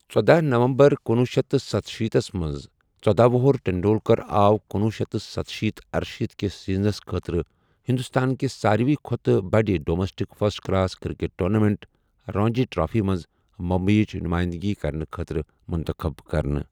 ژۄدہَ November کنُۄہُ شیتھ تہٕ ستشیٖتھ تھس منٛز، ژۄدہَ وُہُر ٹنڈولکر آو کُنوہ شیتھ تہٕ ستشیٖتھ ارشیٖتھ کِس سیزنس خٲطرٕ ہندوستان کہ ساری کھوتہٕ بڑٕ domestic first class cricket tournament Ranji trophy منٛز بمبئیٕچ نُماینٛدٕگی کَرنہٕ خٲطرٕ منتخب کرنہٕ.